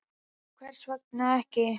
Nú, hvers vegna ekki?